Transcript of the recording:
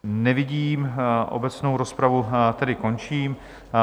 Nevidím, obecnou rozpravu tedy končím.